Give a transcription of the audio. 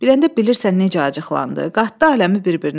Biləndə bilirsən necə acıqlandı, qatdı aləmi bir-birinə.